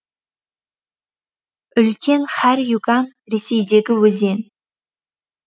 үлкен харь юган ресейдегі өзен